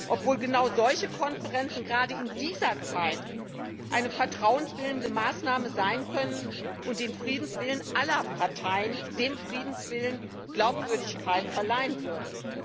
obwohl genau solche Konferenzen gerade in dieser Zeit eine vertrauensbildende Maßnahme sein können und dem Friedenswillen aller Parteien Glaubwürdigkeit verleihen würden.